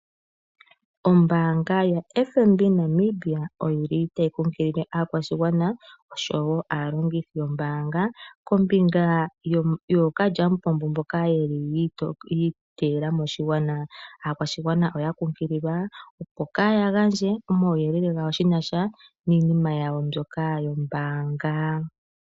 Ombaanga yo FNB Namibia oyili tayi kunkilile oshigwana oshowo aalongithi yombaanga kombinga yookalyamupombo mboka yeli yi iteyela moshigwana. Aakwashigwana oya kunkililwa opo kaya gandje omauyelele giinima yawo yinasha nombaanga.